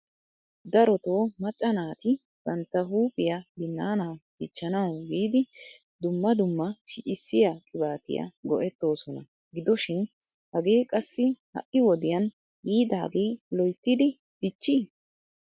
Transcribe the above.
darotoo macca naati bantta huuphiya binaana dichchanaw giidi dumma dumma shiccissiya qibaatiya go''ettoosona gidoshin hagee qassi ha'i wodiyan yiidaage loyttidi dichchi?